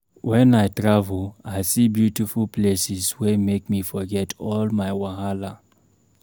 Wen I travel, I see beautiful places wey make me forget all my wahala